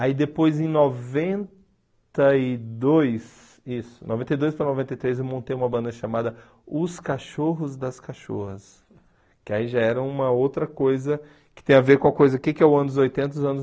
Aí depois em noventa e dois, isso, noventa e dois para noventa e três eu montei uma banda chamada Os Cachorros das Cachorras, que aí já era uma outra coisa que tem a ver com a coisa, o que que é o anos oitenta e os anos